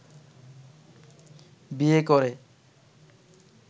বিয়ে করে